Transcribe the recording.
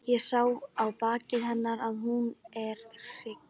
Ég sé á baki hennar að hún er hrygg.